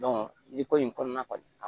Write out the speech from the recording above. jiko in kɔnɔna na